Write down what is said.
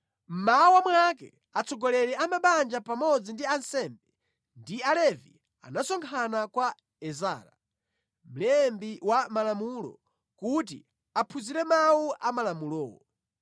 Mmawa mwake atsogoleri a mabanja pamodzi ndi ansembe ndi alevi anasonkhana kwa Ezara, mlembi wa malamulo kuti aphunzire mawu a malamulowo.